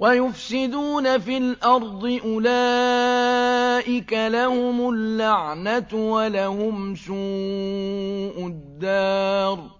وَيُفْسِدُونَ فِي الْأَرْضِ ۙ أُولَٰئِكَ لَهُمُ اللَّعْنَةُ وَلَهُمْ سُوءُ الدَّارِ